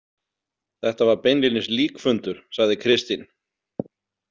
Þetta var beinlínis líkfundur, sagði Kristín.